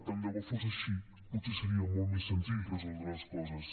tant de bo fos així potser seria molt més senzill resoldre les coses